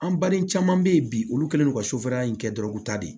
An baden caman bɛ yen bi olu kɛlen don ka in kɛ dɔrɔn u ta de